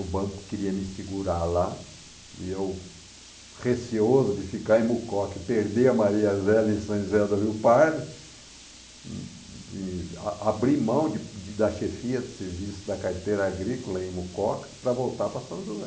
O banco queria me segurar lá e eu, receoso de ficar em Mucoca e perder a Maria Zélia em São José do Rio Pardo, e a abri mão de de da chefia de serviço da carteira agrícola em Mucoca para voltar para São José.